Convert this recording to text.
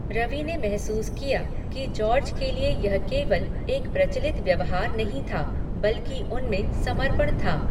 रवि ने महसूस किया कि जॉर्ज के लिए यह केवल एक प्रचलित व्यवहार नहीं था, बल्कि उनमें समर्पण था।